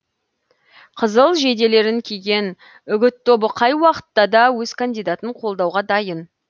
қызыл жейделерін киген үгіт тобы қай уақытта да өз кандидатын қолдауға дайын